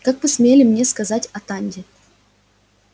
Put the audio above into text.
как вы смели мне сказать атанде